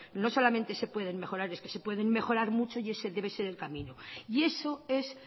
no solamente se pueden mejorar es que se pueden mejorar mucho y ese debe ser el camino y eso es